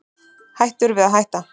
Hættur við að hætta